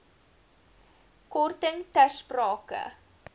korting ter sprake